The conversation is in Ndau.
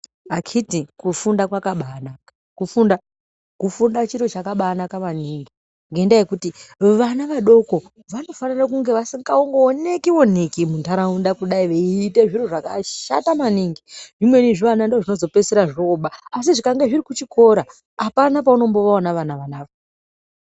Akhiti kufunda kwakabanaka kufunda chiro chakabanaka maningi. Ngendaa yekuti vana vadoko vanofanira kunge vasingaoneki-oneki munharaunda kudai veiite zviro zvakashata maningi. Zvimweni zvivana ndozvinozopedzisira zvoba asi zvikange zviri kuchikora hapana paunombovaona vana ava.